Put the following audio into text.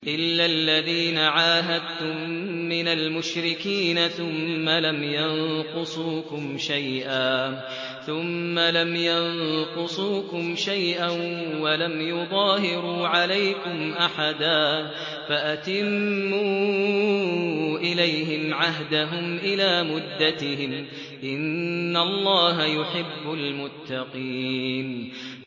إِلَّا الَّذِينَ عَاهَدتُّم مِّنَ الْمُشْرِكِينَ ثُمَّ لَمْ يَنقُصُوكُمْ شَيْئًا وَلَمْ يُظَاهِرُوا عَلَيْكُمْ أَحَدًا فَأَتِمُّوا إِلَيْهِمْ عَهْدَهُمْ إِلَىٰ مُدَّتِهِمْ ۚ إِنَّ اللَّهَ يُحِبُّ الْمُتَّقِينَ